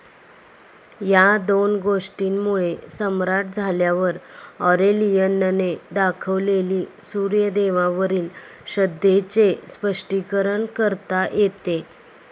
या दोन गोष्टींमुळे सम्राट झाल्यावर ऑरेलियनने दाखवलेली सूर्यदेवावरील श्रद्धेचे स्पष्टीकरण करता येते.